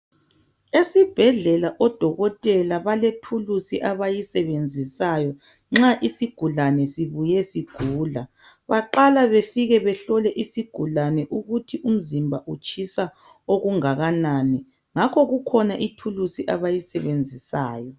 Esibhedlela odokotela balethuluzi abayisebenzisayo nxa isigulane sibuye sigula, baqala befike behlole isigulane ukuthi umzimba utshisa okungakanani ngakho kukhona ithuluzi abayisebenzisayo.